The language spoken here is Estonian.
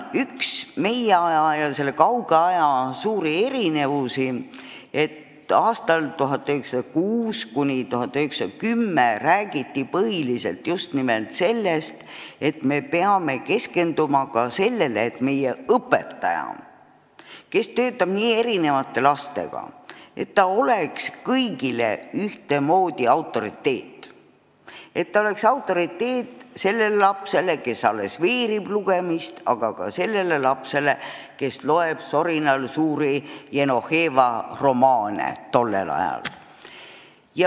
Üks meie aja ja selle kauge aja suuri erinevusi on, et aastail 1906–1910 räägiti põhiliselt sellest, et me peame ka keskenduma sellele, et õpetaja, kes töötab nii erinevate lastega, oleks kõigile ühtemoodi autoriteet – et ta oleks autoriteet sellele lapsele, kes alles veerib lugeda, ja ka sellele lapsele, kes loeb soravalt suuri Jenoveeva romaane.